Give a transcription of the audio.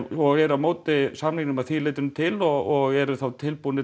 og eru á móti samningnum að því leytinu til og eru tilbúnir